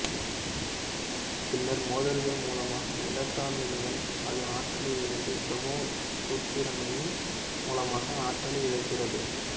பின்னர் மோதல்கள் மூலமாக எலெட்ரான்களிடம் அது ஆற்றலை இழந்து பிரேமுசுத்திராலுன் மூலமாக ஆற்றலை இழக்கிறது